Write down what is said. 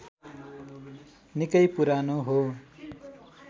निकै पुरानो हो